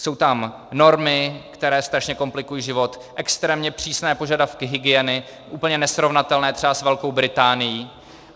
Jsou tam normy, které strašně komplikují život, extrémně přísné požadavky hygieny, úplně nesrovnatelné třeba s Velkou Británií.